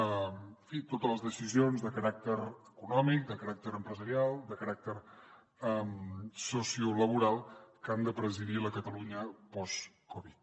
en fi totes les decisions de caràcter econòmic de caràcter empresarial de caràcter sociolaboral que han de presidir la catalunya postcovid